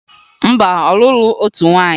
Mba, ọ lụrụ otu nwaanyị